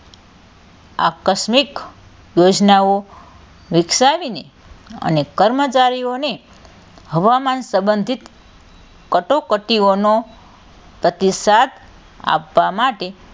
આકસ્મિક યોજનાઓ વિકસાવીને અને કર્મચારીઓને હવામાન સંબધિત કટોકટીઓનો પ્રતિષાધ આપવાં માટે,